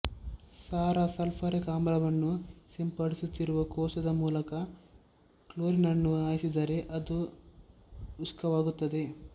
ಸಾರ ಸಲ್ಫೂರಿಕ್ ಆಮ್ಲವನ್ನು ಸಿಂಪಡಿಸುತ್ತಿರುವ ಕೋಶದ ಮೂಲಕ ಕ್ಲೋರಿನನ್ನು ಹಾಯಿಸಿದರೆ ಅದು ಶುಷ್ಕವಾಗುತ್ತದೆ